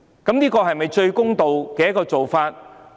這是否最公道的做法？